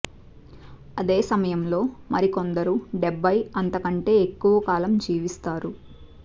అదే సమయంలో మరికొందరు డెబ్బయి అంత కంటే ఎక్కువ కాలం జీవిస్తారు